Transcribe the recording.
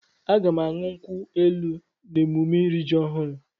Aga m aṅụ nkwu elu n'emume iri ji ọhụrụ.